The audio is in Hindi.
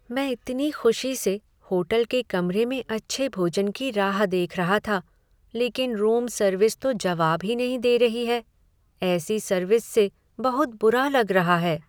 मैं इतनी खुशी से होटल के कमरे में अच्छे भोजन की राह देख रहा था, लेकिन रूम सर्विस तो जवाब ही नहीं दे रही है। ऐसी सर्विस से बहुत बुरा लग रहा है।